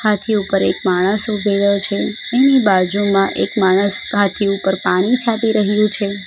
હાથી ઉપર એક માણસ ઉભેલો છે એની બાજુમાં એક માણસ હાથી ઉપર પાણી છાંટી રહ્યું છે.